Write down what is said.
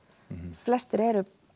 flestir eru